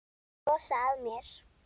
Brosa að mér!